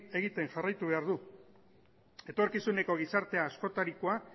egiten jarraitu behar du etorkizuneko gizarte askotarikoa